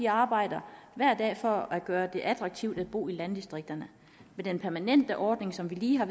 arbejder hver dag for at gøre det attraktivt at bo i landdistrikterne med den permanente ordning som vi lige har